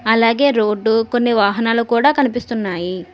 అలాగే రోడ్డు కొన్ని వాహనాలు కూడా కనిపిస్తున్నాయి.